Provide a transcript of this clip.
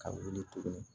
Ka wuli tuguni